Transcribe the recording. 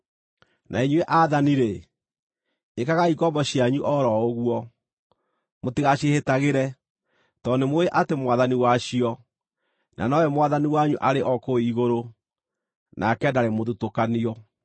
Na inyuĩ aathani-rĩ, ĩkagai ngombo cianyu o ro ũguo. Mũtigaciĩhĩtagĩre, tondũ nĩ mũũĩ atĩ Mwathani wacio, na nowe Mwathani wanyu, arĩ o kũu igũrũ, nake ndarĩ mũthutũkanio.